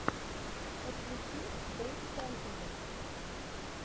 подключи брик фэнтази